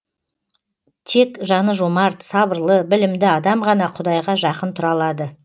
тек жаны жомарт сабырлы білімді адам ғана құдайға жақын тұра алады